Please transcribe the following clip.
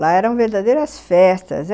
Lá eram verdadeiras festas.